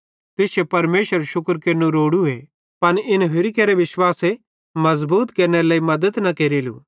तुश्शू परमेशरेरू शुक्र केरनू रोड़ूए पन इन होरि केरे विश्वासे मज़बूत केरनेरे लेइ मद्दत न केरेलू